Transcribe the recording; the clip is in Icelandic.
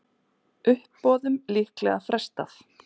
Uppboðum líklega frestað